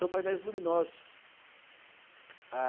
São painéis luminosos. Ah